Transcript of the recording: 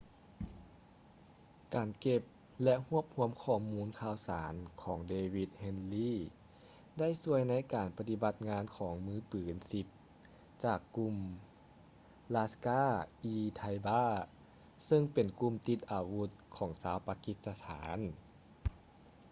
ການເກັບ ແລະ ຮວບຮວມຂໍ້ມູນຂ່າວສານຂອງ ເດວິດ ເຮດລີ david headley ໄດ້ຊ່ວຍໃນການປະຕິບັດງານຂອງມືປືນ 10 ຈາກກຸ່ມ ລາສ໌ກາ-ອີ-ໄທບາ laskhar-e-taiba ຊຶ່ງເປັນກຸ່ມຕິດອາວຸດຂອງຊາວປາກິດສະຖານ